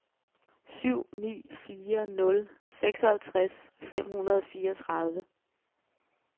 syv ni fire nul seksoghalvtreds fem hundrede og fireogtredive